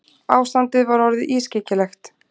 Ástandið var orðið ískyggilegt.